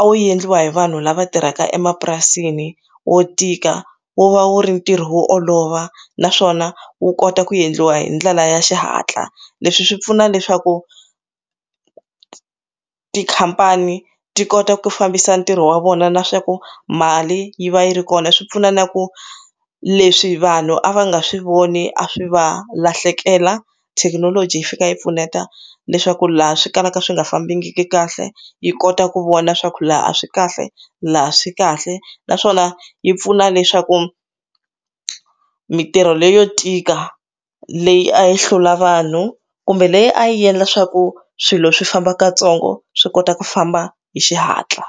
a wu endliwa hi vanhu lava tirhaka emapurasini wo tika wu va wu ri ntirho wo olova naswona wu kota ku endliwa hi ndlela ya xihatla leswi swi pfuna leswaku tikhampani ti kota ku fambisa ntirho wa vona na swa ku mali yi va yi ri kona swi pfuna na ku leswi vanhu a va nga swi voni a swi va lahlekela thekinoloji yi fika yi pfuneta leswaku tithini laha swi kalaka swi nga fambangi kahle yi kota ku vona swa khulu laha a swi kahle laha swi kahle naswona yi pfuna leswaku mintirho leyo tika leyi a yi hlula vanhu kumbe leyi a yi endla swaku swilo swi famba kantsongo swi kota ku famba hi xihatla.